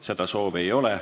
Seda soovi ei ole.